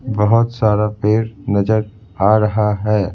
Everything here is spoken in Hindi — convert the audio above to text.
बहुत सारा पेड़ नजर आ रहा है।